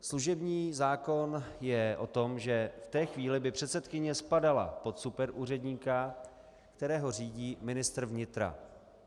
Služební zákon je o tom, že v té chvíli by předsedkyně spadala pod superúředníka, kterého řídí ministr vnitra.